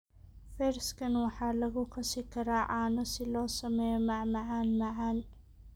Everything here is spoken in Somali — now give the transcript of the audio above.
Fersken waxaa lagu qasi karaa caano si loo sameeyo macmacaan macaan.